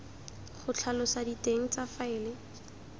go tlhalosa diteng tsa faele